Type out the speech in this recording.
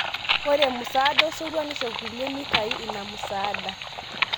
Ore musaada osotua nisho kulie meitayu ina musaada